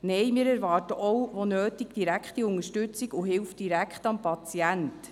Nein, wir erwarten auch, wo nötig, direkte Unterstützung und Hilfe direkt am Patienten.